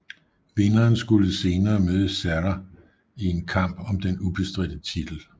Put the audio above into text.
Vinderen skulle senere møde Serra i en kamp om den ubestridte titel